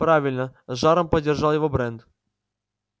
правильно с жаром поддержал его брент